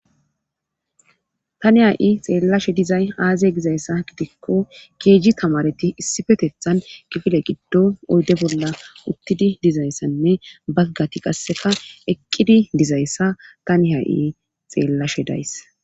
tani ha7i xeellashe dizay aaze gizayssa gidikko keeji tamareti issifetethan kifile giddo oyde bolla uttidi dizayssanne baggati qasseka eqqidi dizayssa tani ha7i xeellashe days